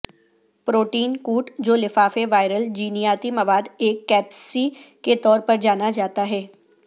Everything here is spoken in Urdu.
پروٹین کوٹ جو لفافے وائرل جینیاتی مواد ایک کیپسسی کے طور پر جانا جاتا ہے